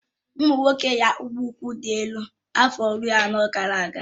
Ụmụ nwoke yi akpụkpọ ụkwụ dị́ elu afọ iri anọ gara aga